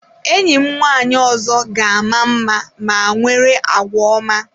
Enyi m nwanyị ọzọ ga-ama mma ma nwere àgwà ọma.